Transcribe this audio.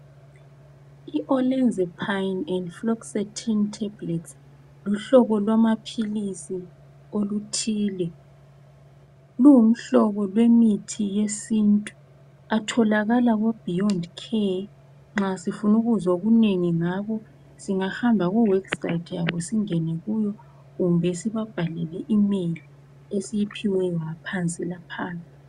I "olanzapine and fluoxetine tablets" luhlobo lwama philisi oluthile, luwumhlobo wamaphilisi esintu. Atholakala ko "beyond care" nxa sifuna ukuzwa okunengi ngabo singahamba ku webhusayithi singene kuyo kumbe sibabhalele imeyili esiyiphiweyo ngaphansi laphayana .